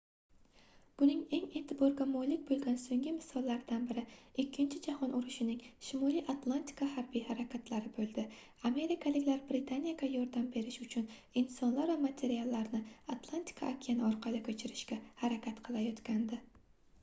buning eng eʼtiborga molik boʻlgan soʻnggi misollaridan biri ikkinchi jahon urushining shimoliy atlantika harbiy harakatlari boʻldi amerikaliklar britaniyaga yordam berish uchun insonlar va materiallarni atlantika okeani orqali koʻchirishga harakat qilayotgandi